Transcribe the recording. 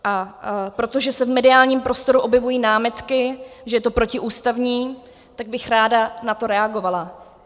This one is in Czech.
A protože se v mediálním prostoru objevují námitky, že je to protiústavní, tak bych ráda na to reagovala.